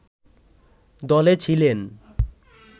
দলে ছিলেন